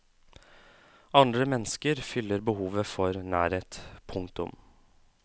Andre mennesker fyller behovet for nærhet. punktum